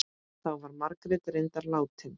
Þá var Margrét reyndar látin.